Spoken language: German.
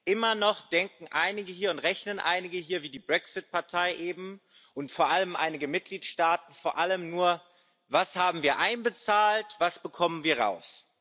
Immer noch denken und rechnen einige hier wie die Brexit Partei eben und insbesondere einige Mitgliedstaaten vor allem nur Was haben wir einbezahlt, was bekommen wir raus?